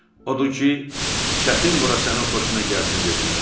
Odur ki, "Çətin bura sənin xoşuna gəlsin" - dedilər.